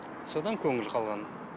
содан көңіл қалған